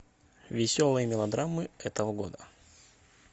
веселые мелодрамы этого года